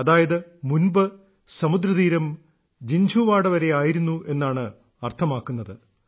അതായത് മുൻപ് സമുദ്രതീരം ജിൻഝുവാഡ വരെ ആയിരുന്നു എന്നാണ് അർത്ഥമാക്കുന്നത്